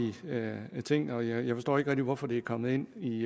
ting og jeg forstår ikke rigtig hvorfor det er kommet ind i